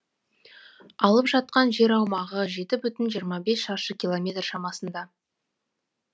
алып жатқан жер аумағы жеті бүтін жиырма бес шаршы километр шамасында